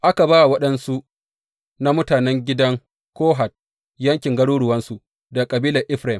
Aka ba wa waɗansu na mutanen gidan Kohat yankin garuruwansu daga kabilar Efraim.